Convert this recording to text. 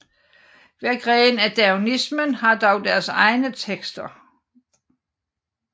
Hver gren af daoismen har dog deres egne tekster